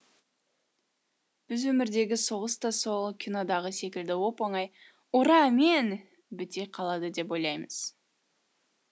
біз өмірдегі соғыс та сол кинодағы секілді оп оңай ура мен біте қалады деп ойлаймыз